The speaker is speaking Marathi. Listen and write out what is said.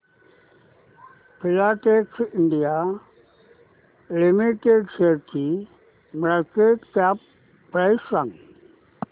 फिलाटेक्स इंडिया लिमिटेड शेअरची मार्केट कॅप प्राइस सांगा